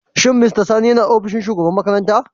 Shin mr sani yana ofishin shugaban makaranta?